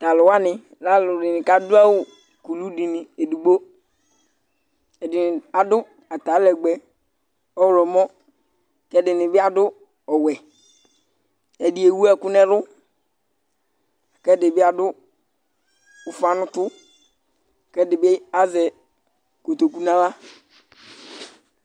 Tʋ alʋ wanɩ lɛ alʋdɩnɩ kʋ adʋ awʋ kulu dɩ edigbo Ɛdɩnɩ adʋ atalɛgbɛ ɔɣlɔmɔ kʋ ɛdɩnɩ bɩ adʋ ɔwɛ, ɛdɩ ewu ɛkʋ nʋ ɛlʋ kʋ ɛdɩ bɩ adʋ ʋfa nʋ ʋtʋ kʋ ɛdɩ bɩ azɛ kotoku nʋ aɣla